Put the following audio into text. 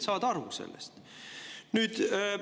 Inimesed saavad sellest aru.